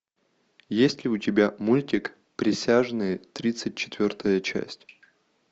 есть ли у тебя мультик присяжные тридцать четвертая часть